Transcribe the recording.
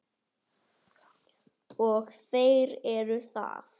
Og þeir eru það.